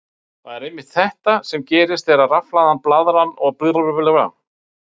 Það er einmitt þetta sem gerist þegar rafhlaðin blaðra er borin að vegg.